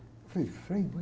Eu falei, frei, mas...